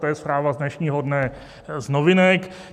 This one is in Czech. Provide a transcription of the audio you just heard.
To je zpráva z dnešního dne z Novinek.